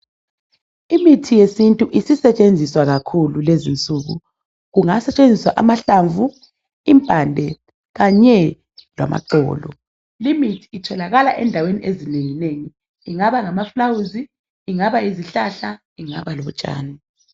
Imithi yesintu esisetshenziswa kakhulu kulezi insuku kungasetshenziswa amahlamvu impande kanye lamaxolo limithi itholakala endaweni ezinengi nengi kungaba ngamaflawuzi kungaba yisihlahla kungaba lutshani